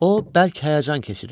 O bəlkə həyəcan keçirirdi.